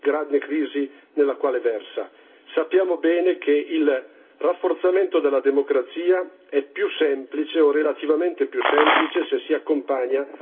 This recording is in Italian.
Sappiamo bene che il rafforzamento della democrazia è più semplice, o relativamente più semplice, se si accompagna alla soluzione dei problemi economici.